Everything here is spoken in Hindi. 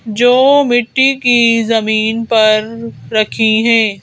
जो मिट्टी की जमीन पर रखी हैं।